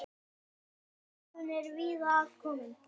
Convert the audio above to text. Áhrifin eru víða að komin.